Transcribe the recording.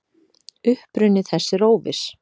Uppruni þess er óviss.